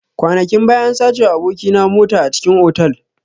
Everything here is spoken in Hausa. Kwanakin baya an sacewa aboki na mota a cikin otal.